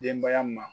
Denbaya ma